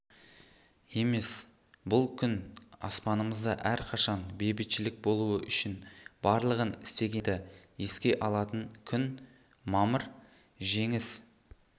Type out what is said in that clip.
емес бұл күн аспанымызда әрқашан бейбітшілік болуы үшін барлығын істегендерді еске алатын күн мамыр жеңіс